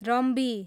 रम्बी